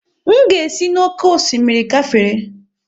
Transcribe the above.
M ga-esi n'oké osimiri gafere.